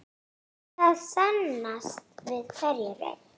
Það sannast við hverja raun.